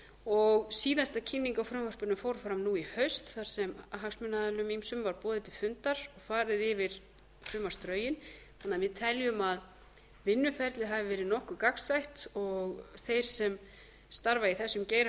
og síðasta kynning á frumvarpinu fór fram nú í haust þar sem hagsmunaaðilum ýmsum var boðið til fundar og farið yfir frumvarpsdrögin þannig að við teljum að vinnuferlið hafi verið nokkuð gagnstætt og þeir sem starfa í þessum geira hafi